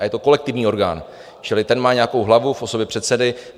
A je to kolektivní orgán, čili ten má nějakou hlavu v osobě předsedy.